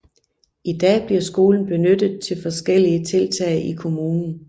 I dag bliver skolen benyttet til forskellige tiltag i kommunen